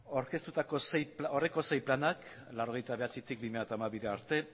aurkeztutako sei planak mila bederatziehun eta laurogeita bederatzitik bi mila hamabira arte